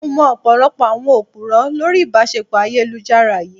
Mo mọ ọ̀pọ̀lọpọ̀ àwọn Òpùrọ́ lórí ìbáṣepọ̀ ayélujára yìí.